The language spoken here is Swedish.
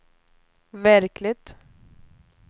verkligt